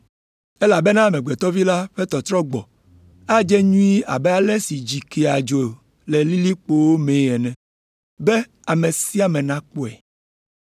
“Elabena Amegbetɔ Vi la ƒe tɔtrɔgbɔ adze nyuie abe ale si dzi kea dzo le lilikpowo mee ene, be ame sia ame nakpɔe.